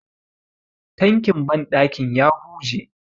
tankin bandakin ya huje